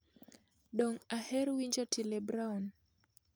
Dong' aher winjo otile brown